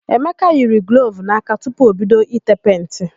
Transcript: Emeka yiri glovu n'aka tupu o bido i tee penti.